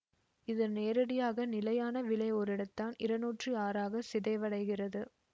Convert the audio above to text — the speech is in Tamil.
இது நேரடியாக நிலையான விளை ஓரிடத்தான் இருநூற்றி ஆறாக சிதைவடைகிறது